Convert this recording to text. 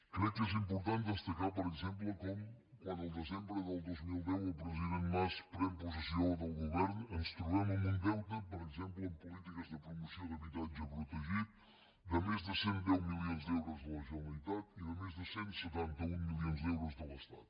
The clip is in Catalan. crec que és important destacar per exemple com quan el desembre del dos mil deu el president mas pren possessió del govern ens trobem amb un deute per exemple en polítiques de promoció d’habitatge protegit de més de cent i deu milions d’euros a la generalitat i de més de cent i setanta un milions d’euros de l’estat